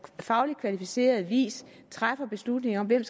fagligt kvalificeret vis træffe beslutning om hvem